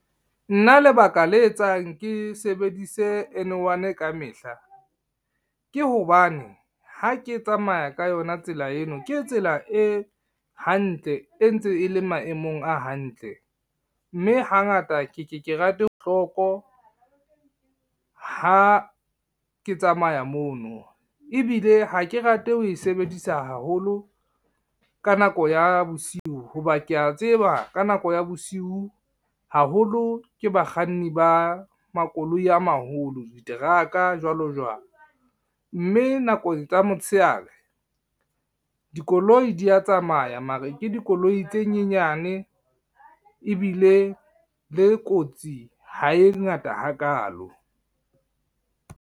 Nna lebaka le etsang ke sebedise N1 ka mehla, ke hobane ha ke tsamaya ka yona tsela eno ke tsela e hantle, e ntse e le maemong a hantle, mme hangata ke ke ke rate ha ke tsamaya mono. Ebile ha ke rate ho e sebedisa haholo ka nako ya bosiu ho ba kea tseba ka nako ya bosiu haholo ke bakganni ba makoloi a maholo, diteraka jwalo jwalo. Mme nakong tsa motshehare, dikoloi dia tsamaya mare ke dikoloi tse nyenyane ebile le kotsi ha e ngata ha kalo.